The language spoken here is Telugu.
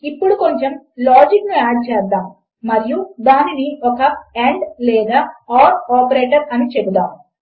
ఇప్పుడు కొంచెము లాజిక్ ను యాడ్ చేద్దాము మరియు దానిని ఒక ఆండ్ లేదా ఓర్ ఆపరేటర్ అని చెపుదాము